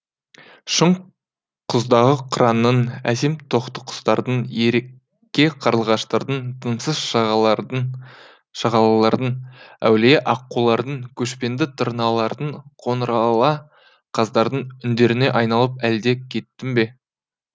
шың құздағы қыранның әсем тотықұстардың ерке қарлығаштардың тынымсыз шағалалардың әулие аққулардың көшпенді тырналардың қоңырала қаздардың үндеріне айналып әлде кеттің бе